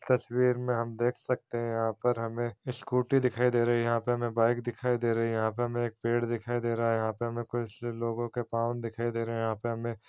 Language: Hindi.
तस्वीर में हम देख सकते है यहाँ पर हमें स्कूटी दिखाई दे रही है यहाँ पर हमें बाइक दिखाई दे रही है यहाँ पर हम एक पेड़ दिखाई दे रहा है यहाँ पर हमें कुछ लोगों के पाँव दिखाई दे रहे है यहाँ पर हमें --